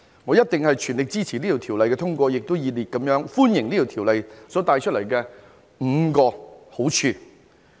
我一定全力支持通過《條例草案》，也熱烈歡迎《條例草案》所帶來的5個好處。